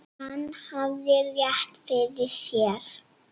Hann hafði rétt fyrir sér.